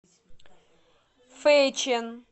фэйчэн